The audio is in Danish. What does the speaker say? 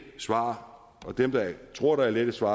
svar dem der tror der er lette svar